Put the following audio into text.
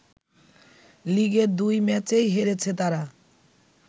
লিগের দুই ম্যাচেই হেরেছে তারা